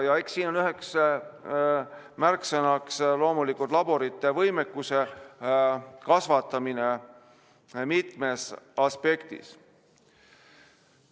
Eks siin on loomulikult üheks märksõnaks laborite võimekuse kasvatamine mitmest aspektist.